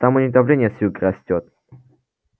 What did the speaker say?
там у них давление с юга растёт